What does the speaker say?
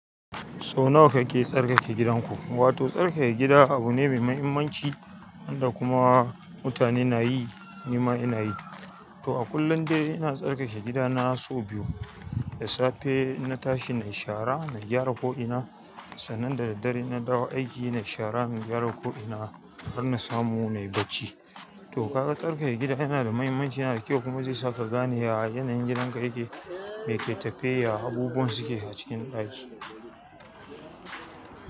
Sau nawa kake tsarkake gidanku? Wato tsarkake gida abu ne mai mahimmanci wanda kuma mutane na yi, ni ma ina yi. To a kullum dai ina tsarkake gidana sau biyu. Da safe in na tashi nayi shara na gyara ko ina sannan da daddare in na dawo aiki na yi shara, na gyara ko'ina har na samu na yi bacci. To kaga tsarkake gida yana da mahimmanci, yana da kyau kuma zai saka gani ya yi yanayin gidanka yake, me ke tafe yake, abubuwan suke a cikin ɗaki.